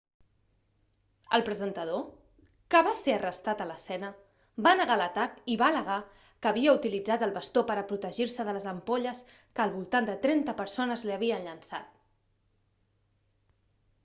el presentador que va ser arrestat a l'escena va negar l'atac i va al·legar que havia utilitzat el bastó per a protegir-se de les ampolles que al voltant de trenta persones l'hi havien llençat